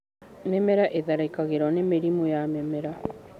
Mĩmera ĩtharĩkĩirwo nĩ mĩrimũ ya mĩmera.